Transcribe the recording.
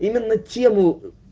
именно тему